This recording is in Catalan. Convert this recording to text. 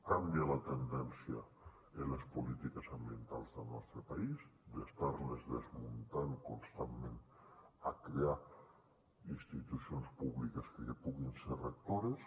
canvia la tendència en les polítiques ambientals del nostre país d’estar les desmuntant constantment a crear institucions públiques que puguin ser rectores